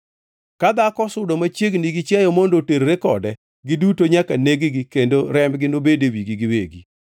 Ka dhako osudo machiegni gi chiayo mondo oterre kode, giduto nyaka neg-gi kendo rembgi obed e wigi giwegi.